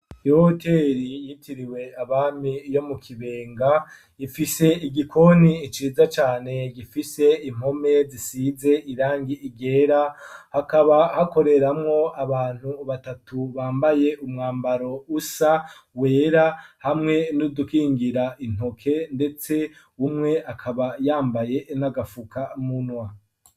Ihoteri yitiriwe abami yo mu Kibenga ifise igikoni ciza cane gifise impome zisize irangi ryera hakaba hakoreramwo abantu batatu bambaye umwambaro usa wera hamwe n'udukingira intoke ndetse umwe akaba yambaye nagapfuka munwa.